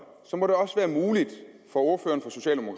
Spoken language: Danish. så må det også være muligt for ordføreren